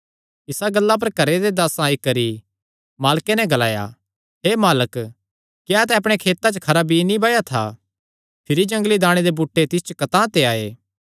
इसा गल्ला पर घरे दे दासां आई करी मालके नैं ग्लाया हे मालक क्या तैं अपणे खेतां च खरा बीई नीं बाया था भिरी जंगली दाणे दे बूटे तिस च कतांह ते आये